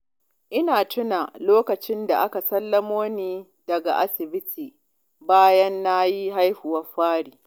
Ina tuna lokacin da aka sallamo ni daga asibiti bayan na yi haihuwar fari